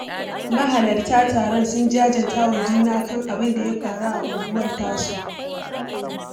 Mahalarta taron sun jajanta wa juna kan abin da ya faru a unguwar tasu